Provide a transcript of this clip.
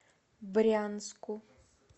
брянску